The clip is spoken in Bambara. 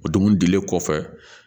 O dumuni dilen kɔfɛ